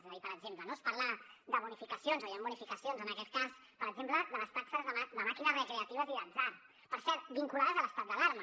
és a dir per exemple es parla de bonificacions o hi han bonificacions en aquest cas per exemple de les taxes de màquines recreatives i d’atzar per cert vinculades a l’estat d’alarma